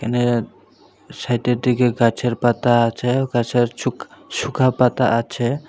এখানে সাইডের দিকে গাছের পাতা আছে গাছের ছুক সুখা পাতা আছে।